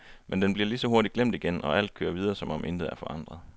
Men den bliver lige så hurtigt glemt igen, og alt kører videre som om intet er forandret.